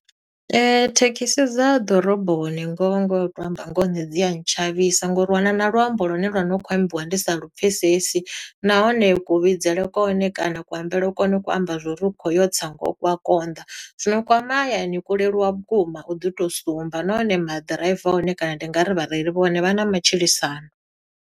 Thekhisi dza ḓoroboni ngoho ngoho u to amba ngoho nṋe dzi a ntshavhisa, ngo uri u wana na luambo lune lwa no khou ambiwa ndi sa lupfesesi. Nahone kuvhidzele kwa hone kana kuambele kune ku ko amba zwo uri u kho yo tsa ngoho ku a konḓa. Zwino kwa mahayani kwo leluwa vhukuma u ḓi to sumba. Nahone maḓiraiva a hone kana ndi nga ri vhareili vha hone vha na matshilisano.